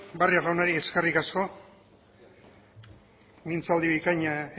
barrio jaunari eskerrik asko mintzaldi bikaina